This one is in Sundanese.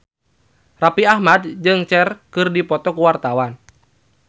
Raffi Ahmad jeung Cher keur dipoto ku wartawan